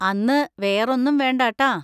അന്ന് വേറൊന്നും വേണ്ട ട്ടാ.